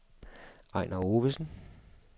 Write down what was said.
Ejnar Ovesen